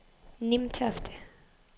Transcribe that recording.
Nimtofte